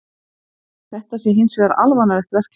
Þetta sé hins vegar alvanalegt verklag